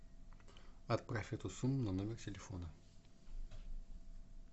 отправь эту сумму на номер телефона